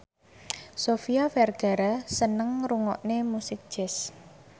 Sofia Vergara seneng ngrungokne musik jazz